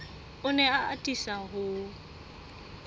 o ne a atisa ho